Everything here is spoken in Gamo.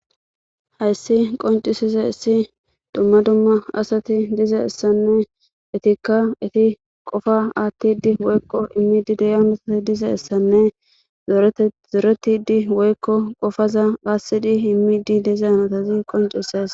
Hayssi qonccisizayssi dumma dumma asati dizayssanne eettikka eetti qofa aattidi woykko immidi diya dizayssanne zooretidi woykko qofaza aassidi immidi dizayssa qonccises qoncises